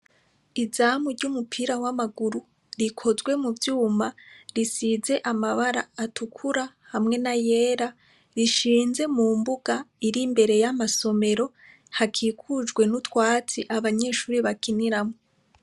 Izamu ry'umupira w'amaguru rikozwe mu vyuma risize amabara atukura hamwe n'ayera rishinze mu mbuga iri imbere y'amasomero hakikujwe n'utwasi abanyeshure bakiniramwo.